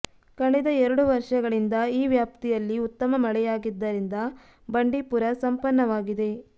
ಕಳೆದ ಎರಡು ವರ್ಷಗಳಿಂದ ಈ ವ್ಯಾಪ್ತಿಯಲ್ಲಿ ಉತ್ತಮ ಮಳೆಯಾಗಿದ್ದರಿಂದ ಬಂಡೀಪುರ ಸಂಪನ್ನವಾಗಿದೆ